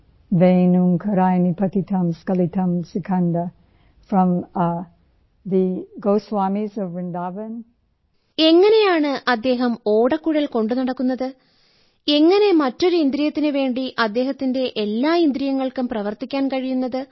voice Jadurani എങ്ങനെയാണ് അദ്ദേഹം ഓടക്കുഴൽ കൊണ്ടുനടക്കുന്നത് എങ്ങനെ മറ്റൊരു ഇന്ദ്രിയത്തിനുവേണ്ടി അദ്ദേഹത്തിന്റെ എല്ലാ ഇന്ദ്രിയങ്ങൾക്കും പ്രവർത്തിക്കാൻ കഴിയുന്നത്